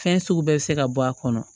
Fɛn sugu bɛɛ bɛ se ka bɔ a kɔnɔ